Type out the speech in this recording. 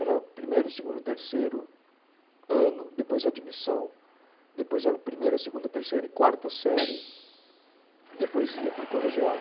Era primeiro, segundo, terceiro ano, depois admissão, depois era primeira, segunda, terceira e quarta série, depois ia para o colegial.